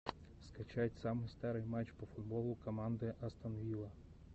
скачать самый старый матч по футболу команды астон вилла